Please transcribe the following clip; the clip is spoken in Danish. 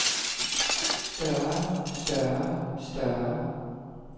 større større større